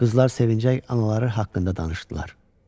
Qızlar sevinclə anaları haqqında danışdılar.